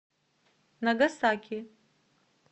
нагасаки